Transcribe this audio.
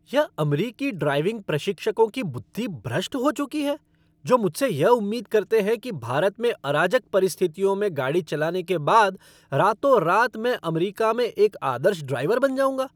यह अमरीकी ड्राइविंग प्रशिक्षकों की बुद्धि भ्रष्ट हो चुकी है जो मुझसे यह उम्मीद करते हैं कि भारत में अराजक परिस्थितियों में गाड़ी चलाने के बाद रातोंरात मैं अमरीका में एक आदर्श ड्राइवर बन जाऊँगा।